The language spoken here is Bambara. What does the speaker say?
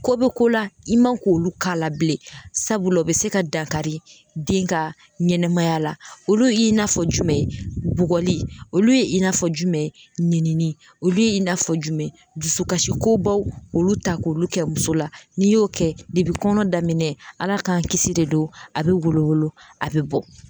Ko be ko la i man k'olu k'a la bilen sabula o be se ka dankari den ka ɲɛnɛmaya la olu y'i nafɔ jumɛn ye bugɔli olu ye i n'a fɔ jumɛn ye ninini olu ye i n'a fɔ jumɛn ye dusukasi kobaw olu ta k'olu kɛ muso la n'i y'o kɛ depi kɔnɔ daminɛ ala k'an kisi de don a be wolo wolo a be bɔ